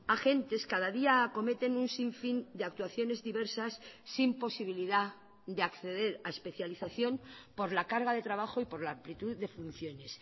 agentes cada día acometen un sin fin de actuaciones diversas sin posibilidad de acceder a especialización por la carga de trabajo y por la amplitud de funciones